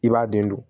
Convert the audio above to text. I b'a den dun